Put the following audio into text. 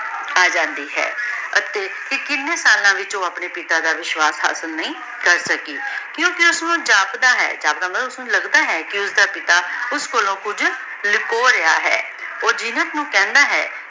ਅਜੰਦੀ ਹੈ ਅਤੀ ਕੀਨੀ ਸਾਲਾਂ ਵਿਚ ਊ ਅਪਨੇ ਪਿਤਾ ਦਾ ਵਿਸ਼ਵਾਸ਼ ਹਾਸਿਲ ਨਹੀ ਕਰ ਸਕੀ ਕ੍ਯੂ ਕੇ ਓਸਨੂ ਜਾਪਦਾ ਹੈ ਜਾਪਦਾ ਮਤਲਬ ਲਗਦਾ ਹੈ ਕੇ ਓਸਦਾ ਪਿਤਾ ਓਸ ਕੋਲੋਂ ਕੁਜ ਲੁਕੋ ਰਿਹਾ ਹੈ ਊ ਜੀਨਤ ਨੂ ਕਹੰਦਾ ਹੈ